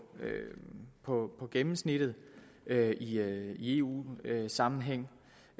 på gennemsnittet i eu sammenhæng